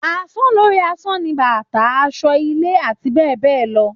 Àsàn lori àsan ni bàtá, àsọ́, ìlé àti bẹ́ẹ̀ bẹ́ẹ̀ lọ